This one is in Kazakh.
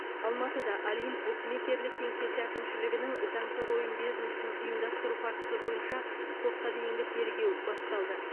алматыда олимп букмекерлік кеңсесі әкімшілігінің заңсыз ойын бизнесін ұйымдастыру фактісі бойынша сотқа дейінгі тергеу басталды